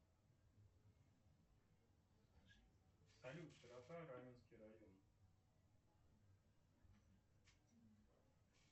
салют широта раменский район